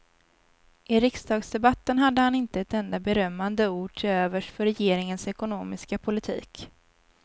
I riksdagsdebatten hade han inte ett enda berömmande ord till övers för regeringens ekonomiska politik.